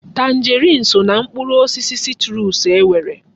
Tanjeriini so ná mkpụrụ osisi sitruusu e nwere.